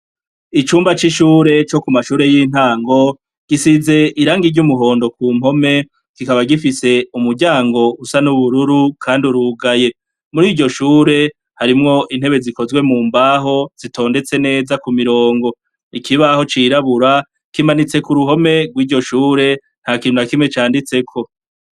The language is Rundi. Icumba c'ishure co ku mashure y'intango, gisize irangi ry'umuhondo ku mpome kikaba gifise umuryango usa n'ubururu kandi urugaye, muriryo shure harimwo intebe zikozwe mu mbaho zitondetse neza ku mirongo, ikibaho cirabura kimanitse kuruhome gwiryo shure ntakintu na kimwe canditseko.